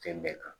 Fɛn bɛɛ kan